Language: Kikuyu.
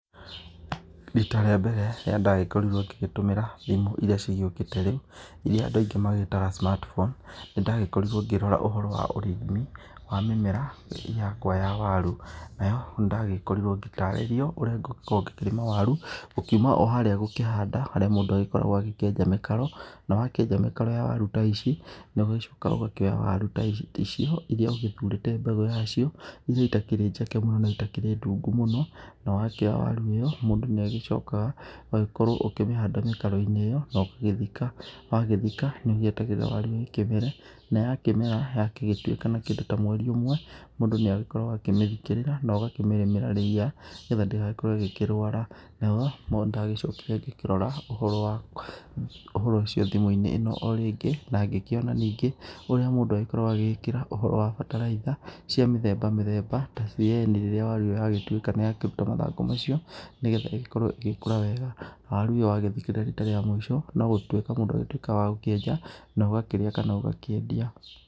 Rita rĩa mbere rĩrĩa ndagĩkorirwo ngĩgĩtũmĩra thimũ iria cigĩũkĩte rĩu, iria andũ aingĩ magĩtaga smart phone, nĩ ndagĩkorirwo ngĩrora ũhoro wa ũrĩmi wa mĩmera yakwa ya waru. Nayo nĩndagĩkorirwo ndĩtarĩrio ũrĩa ngũgĩkorwo ngĩkĩrĩma waru, gũkiuma o harĩa gũkĩhanda harĩa mũndũ agĩkoragwo agĩkĩenja mĩkaro, na wakĩenja mĩkaro ya waru ta ici, ũgagĩcoka ũgakĩkoya waru ta icio iria ũgĩthurĩte mbegũ yacio, irĩa itakĩrĩ njeke mũno na itakĩrĩ ndungu mũno, na wakĩoya waru ĩyo, mũndũ nĩ agĩcokaga ũgagĩkorwo ũkĩmĩhanda mĩkaro-inĩ ĩyo, na ũgagĩthika, na wagĩthika nĩ ũgĩetagĩrĩra waru ĩkĩmere na yakĩmera, yagĩtuĩka ta kĩndũ mweri ũmwe, mũndũ nĩ agĩkoragwo agĩkĩmĩthikĩrĩra na ũgakĩmĩrĩmĩra ria, nĩgetha ndĩgagĩkorwo ĩgĩkĩrwara, nayo nĩndagĩcokire ngĩkĩrora ũhoro ũcio thimũ-inĩ ĩno o rĩngĩ na ngĩkĩona ningĩ ũrĩa mũndũ agĩkoragwo agĩgĩkĩra ũhoro wa bataraitha cia mĩthemba mĩthemba ta CAN rĩrĩa yagĩtuĩka nĩ yakĩruta mathangũ macio, nĩgetha ĩgĩkorwo ĩgĩkũra wega, na waru ĩyo wagĩthikĩrĩra rita rĩa mũico, no gũtuĩka mũndũ agĩtuĩkaga wa gũkĩenja na ũgakĩrĩa kana ũgakĩendia.